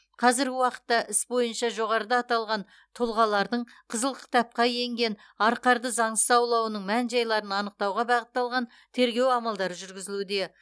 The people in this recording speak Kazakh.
қазіргі уақытта іс бойынша жоғарыда аталған тұлғалардың қызыл кітапқа енген арқарды заңсыз аулауының мән жайларын анықтауға бағытталған тергеу амалдары жүргізілуде